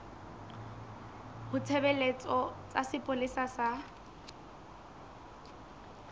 ba ditshebeletso tsa sepolesa sa